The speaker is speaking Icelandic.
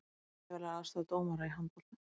Myndavélar aðstoða dómara í handbolta